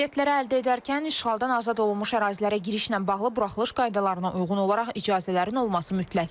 Biletləri əldə edərkən işğaldan azad olunmuş ərazilərə girişlə bağlı buraxılış qaydalarına uyğun olaraq icazələrin olması mütləqdir.